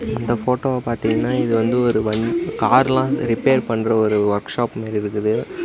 இந்த போட்டோவ பாத்தீங்கன்னா இது வந்து வண் கார் லாம் ரிப்பேர் பண்ற ஒரு ஒர்க் ஷாப் ஒன்னு இருக்குது.